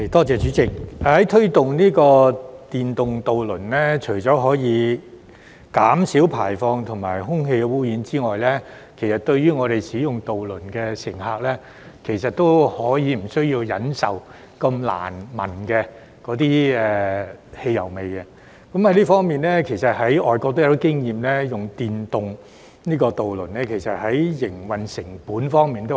主席，推動電動渡輪除可減少排放和空氣污染外，亦令渡輪乘客無需再忍受難聞的汽油味，而外國也有些經驗是使用電動渡輪可以減省營運成本。